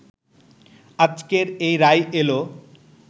আজকের এই রায় এলো